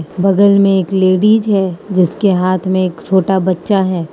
बगल में एक लेडिज है जिसके हाथ में एक छोटा बच्चा है।